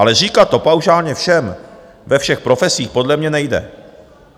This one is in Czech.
Ale říkat to paušálně všem ve všech profesích podle mě nejde.